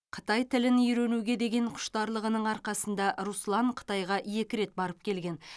қытай тілін үйренуге деген құштарлығының арқасында руслан қытайға екі рет барып келген